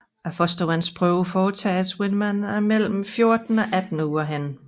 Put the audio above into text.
Fostervandsprøve foretages hvis man er mellem 14 og 18 uger henne